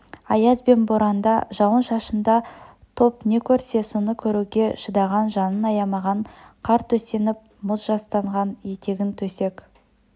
аяз бен боранда жауын-шашында топ не көрсе соны көруге шыдаған жанын аямаған қар төсеніп мұз жастанған етегін төсек